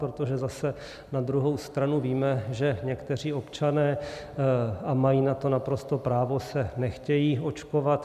Protože zase na druhou stranu víme, že někteří občané - a mají na to naprosto právo - se nechtějí očkovat.